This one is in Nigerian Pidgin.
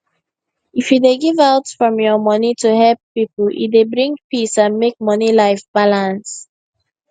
if you dey give out from your money to help people e dey bring peace and make money life balance